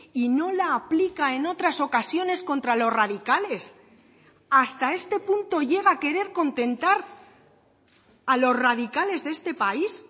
y no la aplica en otras ocasiones contra los radicales hasta este punto llega a querer contentar a los radicales de este país